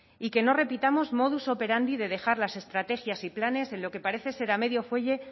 y que no repitamos modus operandi de dejar las estrategias y planes en lo que parece ser a medio fuelle